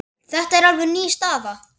Þetta er alveg ný staða.